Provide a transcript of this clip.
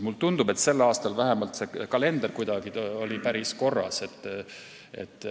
Mulle tundub, et sel aastal vähemalt oli see kalender päris korras.